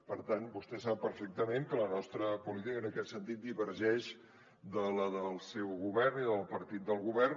per tant vostè sap perfectament que la nostra política divergeix de la del seu govern i de la del partit del govern